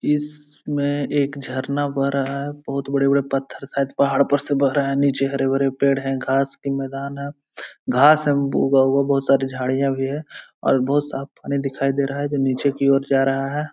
इसमे एक झरना बह रहा है बोहोत बड़े-बड़े पत्थर शायद पहाड़ पर से बह रहे हैं | नीचे हरे भरे पेड़ हैं घास की मैदान है घास उगा हुआ है बोहोत सारी झाड़ियां भी है और बोहोत साफ़ पानी दिखाई दे रहा है जो नीचे की और जा रहा है |